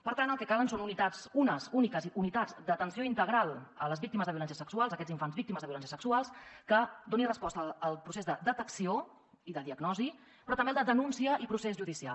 per tant el que calen són unes úniques unitats d’atenció integral a les víctimes de violència sexual a aquests infants víctimes de violències sexuals que donin resposta al procés de detecció i de diagnosi però també al de denúncia i procés judicial